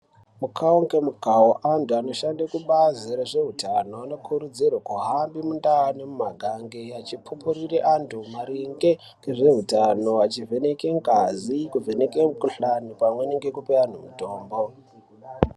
Mukawo ngemukawo antu anoshande kubazi rezveutano anokurudzirwe kuhambe mundau, mumaganga vachipupurira vantu maringe ngezveutano achivheneke ngazi, kuvheneke mukhuhlane pamwe nekupe antu mutombo.